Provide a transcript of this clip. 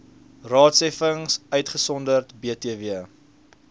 raadsheffings uitgesonderd btw